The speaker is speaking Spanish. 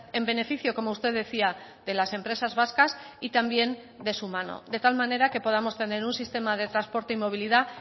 en beneficio como usted decía de las empresas vascas y también de su mano de tal manera que podamos tener un sistema de transporte y movilidad